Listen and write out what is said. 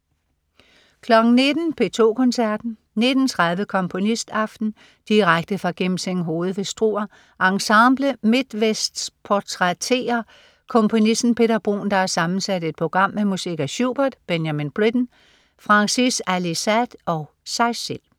19.00 P2 Koncerten. 19.30 Komponistaften. Direkte fra Gimsinghoved ved Struer. Ensemble MidtVests portrætterer komponisten Peter Bruun, der har sammensat et program med musik af Schubert, Benjamin Britten, Frangis Ali-Sade og sig selv